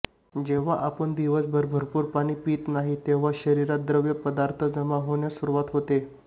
जेव्हा आपण दिवसभर भरपूर पाणी पित नाही तेव्हा शरीरात द्रव पदार्थ जमा होण्यास सुरुवात होते